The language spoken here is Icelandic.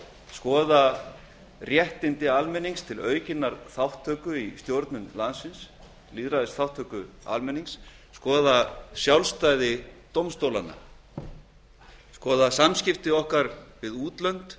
skoða réttindi almennings til aukinnar þátttöku í stjórn landsins lýðræðisþátttöku almennings skoða sjálfstæði dómstólanna og skoða samskipti okkar við útlönd